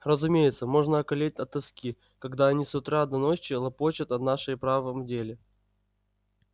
разумеется можно околеть от тоски когда они с утра до ночи лопочут о нашей правом деле